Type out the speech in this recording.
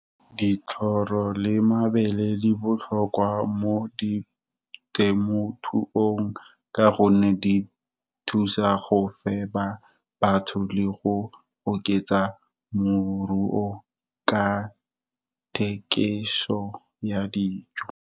ditlhoro le mabele di botlhokwa mo di temothuong ka gonne di thusa go fepa batho le go oketsa moruo ka thekiso ya dijo.